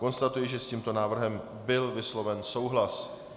Konstatuji, že s tímto návrhem byl vysloven souhlas.